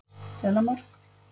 Þelamörk